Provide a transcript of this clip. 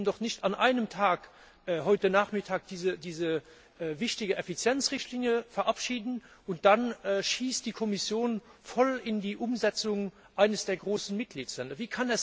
Wir können doch nicht an einem Tag, heute Nachmittag, diese wichtige Effizienzrichtlinie verabschieden, und dann schießt die Kommission voll in die Umsetzung eines der großen Mitgliedstaaten.